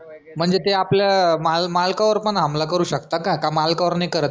म्हणजे ते आपल मालकवर पण हमला करू शकतात का का मालकवर नाही करत